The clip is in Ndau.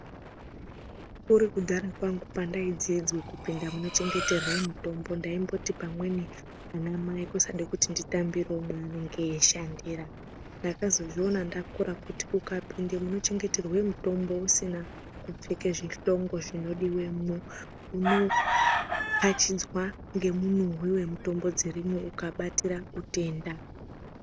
Kuri kudahara kwangu pandaidzidzwe kupinda munochengeterwe mutombo ndaimboti pamweni anamai kusade kuti nditambirewo maanenge eishandira ndakazozviona ndakura kuti ukapinde munochengeterwe mitombo usina kupfeke zvihlongo zvinodiwemo unokachidzwa ngemunhuhwi wemutombo dzirimwo ukabatira utenda.